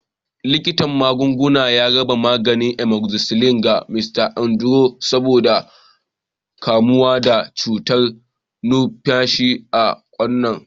Likitan magunguna ya raba maganin amoxicillin ga Mrs. Anderson saboda kamuwa da cutar numfashi ta kwanan nan.